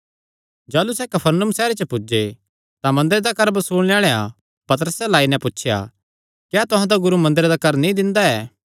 जाह़लू सैह़ कफरनहूम सैहरे च पुज्जे तां मंदरे दा कर बसूलणे आल़ेआं पतरसे अल्ल आई नैं पुछया क्या तुहां दा गुरू मंदरे दा कर नीं दिंदा ऐ